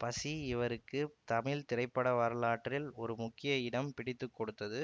பசி இவருக்கு தமிழ் திரைப்பட வரலாற்றில் ஒரு முக்கிய இடம் பிடித்து கொடுத்தது